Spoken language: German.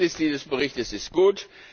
Das Ergebnis dieses Berichtes ist